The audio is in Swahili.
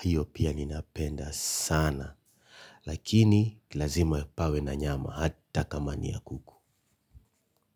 hiyo pia ninapenda sana. Lakini, lazima pawe na nyama, hata kama ni ya kuku.